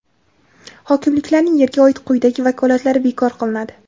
Hokimliklarning yerga oid quyidagi vakolatlari bekor qilinadi:.